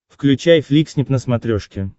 включай фликснип на смотрешке